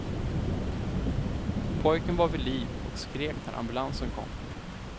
Pojken var vid liv och skrek när ambulansen kom.